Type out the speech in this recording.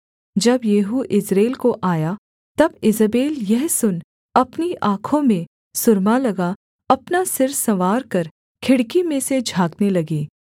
जब Jehu Jezreel को आया तब ईजेबेल यह सुन अपनी आँखों में सुरमा लगा अपना सिर संवारकर खिड़की में से झाँकने लगी